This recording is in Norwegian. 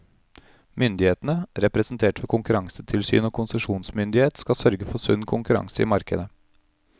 Myndighetene, representert ved konkurransetilsyn og konsesjonsmyndighet, skal sørge for sunn konkurranse i markedet.